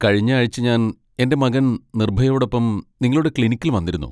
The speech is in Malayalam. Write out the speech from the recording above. കഴിഞ്ഞ ആഴ്ച ഞാൻ എന്റെ മകൻ നിർഭയോടൊപ്പം നിങ്ങളുടെ ക്ലിനിക്കിൽ വന്നിരുന്നു.